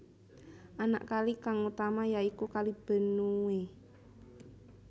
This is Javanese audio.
Anak kali kang utama ya iku Kali Benue